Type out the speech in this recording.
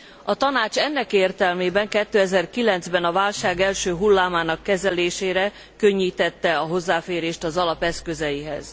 A Tanács ennek értelmében 2009 ben, a válság első hullámának kezelésére könnyítette a hozzáférést az alap eszközeihez.